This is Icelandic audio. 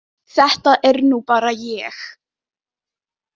Þetta er nú bara ég!